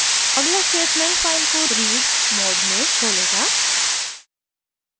अगला statement file को read mode में खोलेगा